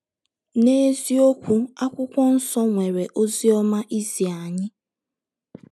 N’eziokwu, akwụkwọ nsọ nwere “ ozi ọma ” izi anyị.